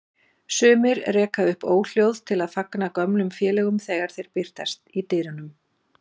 Sumir reka upp óhljóð til að fagna gömlum félögum þegar þeir birtast í dyrunum.